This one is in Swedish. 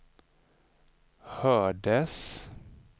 hördes